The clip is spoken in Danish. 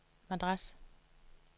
Madras